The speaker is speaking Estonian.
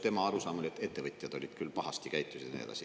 Tema arusaam oli, et ettevõtjad olid küll pahasti käitusid, ja nii edasi.